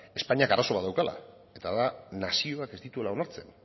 espainiak arazo bat daukala eta da nazioak ez dituela onartzen